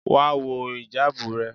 Wá wọ ìjábù rẹ.!